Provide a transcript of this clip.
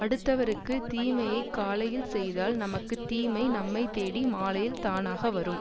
அடுத்தவருக்குத் தீமையைக் காலையில் செய்தால் நமக்கு தீமை நம்மை தேடி மாலையில் தானாக வரும்